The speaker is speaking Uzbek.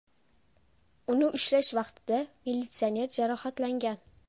Uni ushlash vaqtida militsioner jarohatlangan.